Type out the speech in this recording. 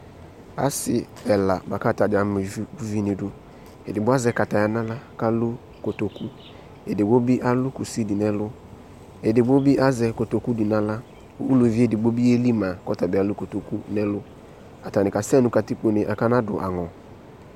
Ase ɛla boako atadza ama uvu uvi no idu Edigbo azɛ kataya no ala ko alu kotokuEdigbo be alu kusi de no ɛlu Edigbo be azɛ kotoku de no ala Uluvi edigbo be yeli ma ko ɔta be alu kotoku no ɛlu, Atane kaa sɛ no katikpone ko anaado angɔ